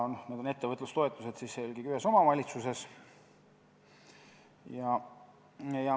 Need on ettevõtlustoetused, mida antakse eelkõige ühes omavalitsuses.